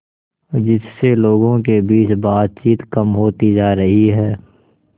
जिससे लोगों के बीच बातचीत कम होती जा रही है